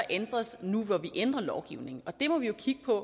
ændres nu hvor vi ændrer lovgivningen og det må vi jo kigge på